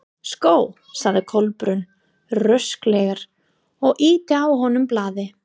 Sko sagði Kolbrún rösklega og ýtti að honum blaði.